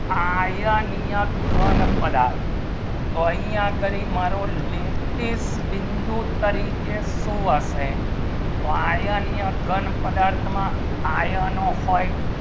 iron હી ના ઘણ પદાર્થ તો અહીંયા કરું મારી લેખી બિંદુ તરીકે શું હશે તો અહીંયા ઘણ પદાર્થ માં iron હું હોય